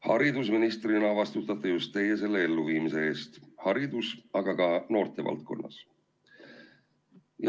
Haridusministrina vastutate just teie selle elluviimise eest nii haridus- kui ka noortevaldkonnas.